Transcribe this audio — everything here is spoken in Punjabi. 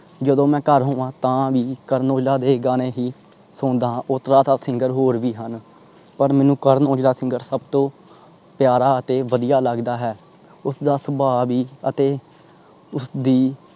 ਜਦੋ ਮੈਂ ਘਰ ਹੋਵਾਂ ਤਾਂ ਭੀ ਕਰਨ ਔਜਲਾ ਦੇ ਗਾਣੇ ਹੀ ਓਦਾਂ ਤਾਂ singer ਹੋਰ ਭੀ ਹਨ ਪਰ ਮੈਨੂੰ ਕਰਨ ਔਜਲਾ singer ਪਿਆਰਾ ਤੇ ਵਧੀਆ ਲੱਗਦਾ ਹੈ। ਉਸਦਾ ਸਬਾਹ ਭੀ ਅਤੇ ਉਸਦੀ